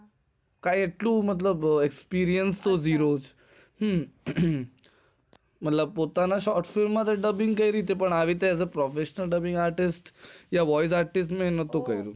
કઈ એટલું experience zero hmm મતલબ પોતાના hostel dubbing કર્યું હતું પણ આવી રીતે professional રીતે કામ નથી કર્યું